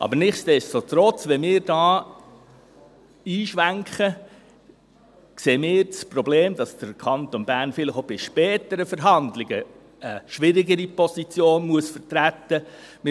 Aber nichtsdestotrotz: Wenn wir hier einschwenken, sehen wir das Problem, dass der Kanton Bern vielleicht auch bei späteren Verhandlungen eine schwierigere Position vertreten muss.